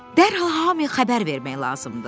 Dərhal hamıya xəbər vermək lazımdır.